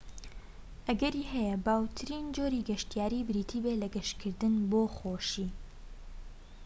ئەگەری هەیە باوترین جۆری گەشتیاری بریتی بێت لە گەشتکردن بۆ خۆشی